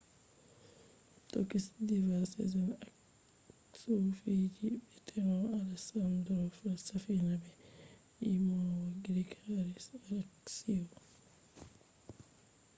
tokish diva sezen aksu fiji be teno alesandro safina be yimowo grik haris aleksio